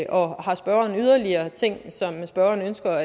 og har spørgeren yderligere ting som spørgeren ønsker